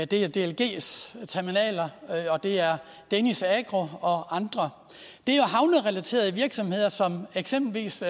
det er dlgs terminaler og det er danish agro og andre det er havnerelaterede virksomheder som eksempelvis